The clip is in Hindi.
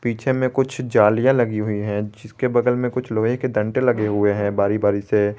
में कुछ जालियां लगी हुई है जिसके बगल में कुछ लोहे के डंडे लगे हुए हैं बारी बारी से।